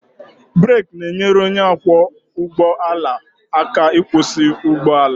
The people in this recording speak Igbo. Brek na-enyere onye ọkwọ ụgbọ ala aka ịkwụsị ụgbọ ala